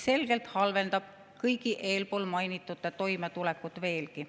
See halvendab selgelt kõigi eelmainitute toimetulekut veelgi.